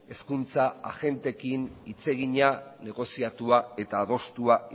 hezkuntza agenteekin hitz egina negoziatua eta adostua